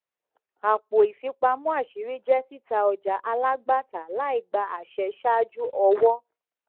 àpò ìfipamọ àṣírí jẹ títa ọjà alágbàtà láìgba àṣẹ ṣáájú ọwọ